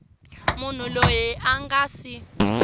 munhu loyi a nga si